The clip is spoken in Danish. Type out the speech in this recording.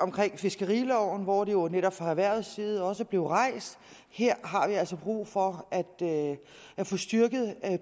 omkring fiskeriloven hvor det jo netop fra erhvervets side også blev rejst her har vi altså brug for at få styrket